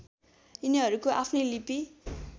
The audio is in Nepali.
यिनीहरूको आफ्नै लिपि